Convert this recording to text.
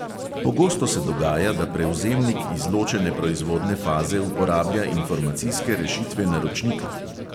Pogosto se dogaja, da prevzemnik izločene proizvodne faze uporablja informacijske rešitve naročnika.